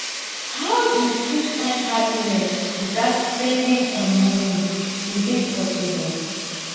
how you fit find happiness without depending on money e dey possible